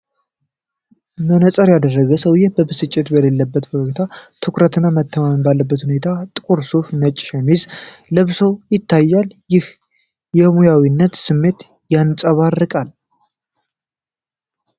መነጽር ያደረገው ሰውዬ ብስጭት የሌለበት ፈገግታ፣ ትኩረት እና መተማመን ባለው ሁኔታ ጥቁር ሱፍ፣ ነጭ ሸሚዝ ለብሶ ይታያል፤ ይህም የሙያዊነትን ስሜት ያንጸባርቃል።